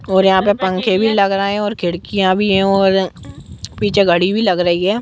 और यहा पे पंखे भी लग रहे है और खिड़कियां भी है और पीछे घड़ी भी लग रही है।